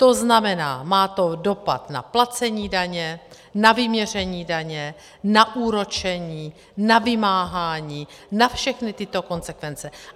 To znamená, má to dopad na placení daně, na vyměření daně, na úročení, na vymáhání, na všechny tyto konsekvence.